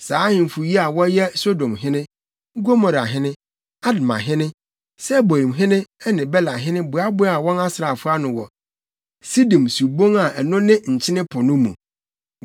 Saa ahemfo yi a wɔyɛ Sodomhene, Gomorahene, Admahene, Seboimhene ne Belahene boaboaa wɔn asraafo ano wɔ Sidim subon a ɛno ne Nkyene Po no mu.